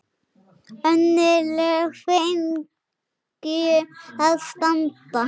Önnur lög fengju að standa.